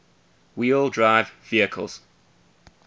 wheel drive vehicles